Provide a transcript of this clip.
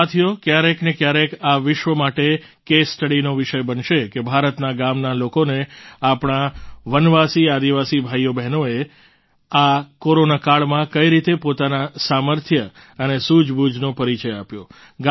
સાથીઓ ક્યારેક ને ક્યારેક આ વિશ્વ માટે કેસ સ્ટડીનો વિષય બનશે કે ભારતના ગામના લોકોને આપણા વનવાસીઆદિવાસી ભાઈબહેનોએ આ કોરોનાકાળમાં કઈ રીતે પોતાના સામર્થ્ય અને સૂજબૂજનો પરિચય આપ્યો